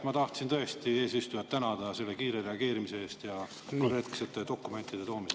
Ma tahtsin eesistujat tänada selle kiire reageerimise eest ja korrektsete dokumentide toomise eest.